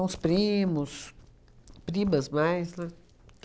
os primos, primas mais, né?